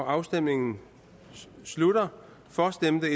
afstemningen slutter for stemte